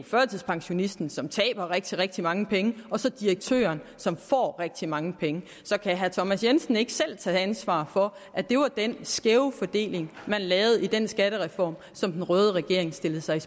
førtidspensionisten som taber rigtig rigtig mange penge og direktøren som får rigtig rigtig mange penge så kan herre thomas jensen ikke selv tage ansvaret for at det var den skæve fordeling man lavede i den skattereform som den røde regering stillede sig